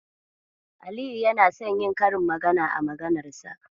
Aliyu yana son yi karin magana a maganar sa.